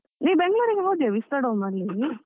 ನೀನ್ ಬೆಂಗಳೂರಿಗೆ ಹೋದ್ಯ vistadome ಅಲ್ಲಿ.